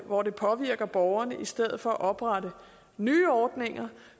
hvor det påvirker borgerne i stedet for at oprette nye ordninger